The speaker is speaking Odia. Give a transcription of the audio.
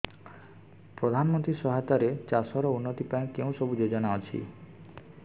ପ୍ରଧାନମନ୍ତ୍ରୀ ସହାୟତା ରେ ଚାଷ ର ଉନ୍ନତି ପାଇଁ କେଉଁ ସବୁ ଯୋଜନା ଅଛି